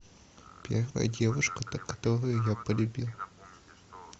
первая девушка которую я полюбил